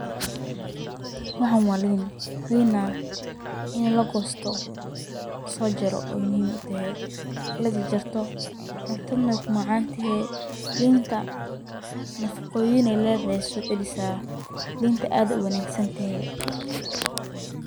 Waxan waa liin ,liin nah ini la goosto, la soo jaro , muhiim u tahee ini la jarjarto ,cuntad na wey ku macaan tahee .Liinta nafaqoyin ay ledehee ay socelisaa ,liinta aad ay u wanagsan tahee .